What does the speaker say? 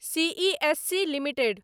CESC limited